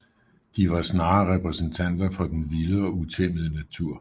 De var snarere repræsentanter for den vilde og utæmmede natur